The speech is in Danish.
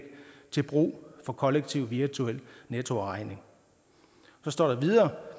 til brug for kollektiv virtuel nettoafregning så står der videre